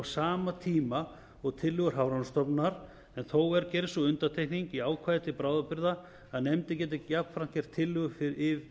sama tíma og tillögur hafrannsóknastofnunar en þó er gerð sú undantekning í ákvæði til bráðabirgða að nefndin geri jafnframt tillögu